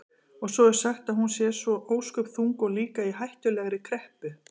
Og svo er sagt að hún sé svo ósköp þung og líka í hættulegri kreppu.